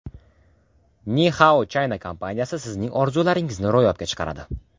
Ni Hao China kompaniyasi sizning orzularingizni ro‘yobga chiqaradi.